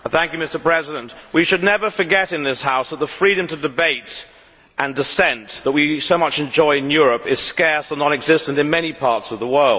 Mr President, we should never forget in this House that the freedom to debate and dissent that we so much enjoy in Europe is scarce and non existent in many parts of the world.